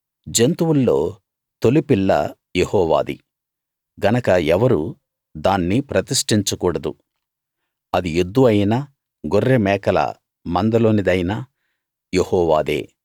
జంతువుల్లో తొలిపిల్ల యెహోవాది గనక ఎవరూ దాన్ని ప్రతిష్ఠించకూడదు అది ఎద్దు అయినా గొర్రెమేకల మందలోనిదైనా యెహోవాదే